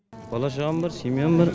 бала шағам бар семьям бар